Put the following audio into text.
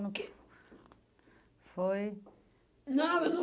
No que foi? Não, eu não